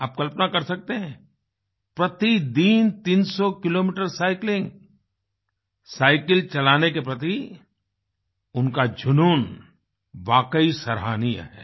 आप कल्पना कर सकते हैं प्रतिदिन 300 किलोमीटर साइक्लिंग साईकिल चलाने के प्रति उनका जुनून वाकई सराहनीय है